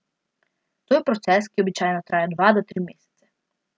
To je proces, ki običajno traja dva do tri mesece.